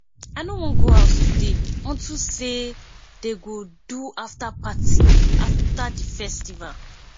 i no wan go house today unto say dey go do after party after the festival